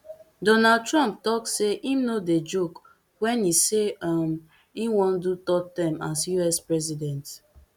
donald trump tok say im no dey joke wen e say um im wan do third term as us president